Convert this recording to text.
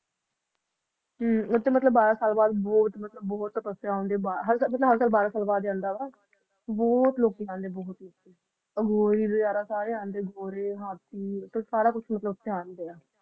ਹੱਮਬੜਾ ਸਾਲ ਬਾਦ ਉਥੇ ਬੋਹਤ ਤਪੱਸਿਆ ਹੋਂਦੀ ਉਹ ਹਰ ਸਾਲ ਉਹ ਬੜਾ ਸਾਲ ਬਾਦ ਹੈ ਆਂਦਾ ਹੈ ਬੋਹਤ ਲੋਕ ਆਂਡੇ ਉਹ ਘੋੜੇ ਹਾਥੀ ਸਾਰੇ ਭੀ ਅੰਡੇ ਆ